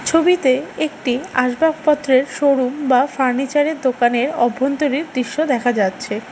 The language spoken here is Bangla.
ছবিতে একটি আসবাবপত্রের শোরুম বা ফার্নিচারের দোকানের অভ্যন্তরীণ দৃশ্য দেখা যাচ্ছে।